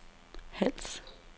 Hals